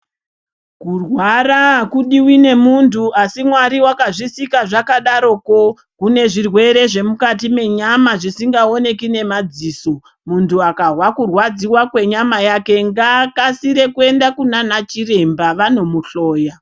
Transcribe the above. Kurwara akudiwi ngemundu asi mwari wakazvisika zvakadaro kune zvirwere zvemukati menyama zvisingaoneki nemadziso mundu akahwa kirwadziwa kwenyama yake ngaakasire kuenda kunana chiremba vanomuhloya .